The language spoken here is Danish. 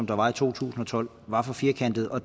der var i to tusind og tolv var for firkantet og